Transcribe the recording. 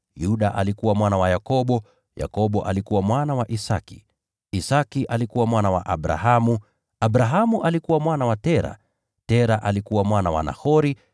Yuda alikuwa mwana wa Yakobo, Yakobo alikuwa mwana wa Isaki, Isaki alikuwa mwana wa Abrahamu, Abrahamu alikuwa mwana wa Tera, Tera alikuwa mwana wa Nahori,